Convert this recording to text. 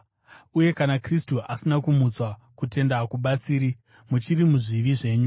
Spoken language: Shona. Uye kana Kristu asina kumutswa, kutenda hakubatsiri; muchiri muzvivi zvenyu.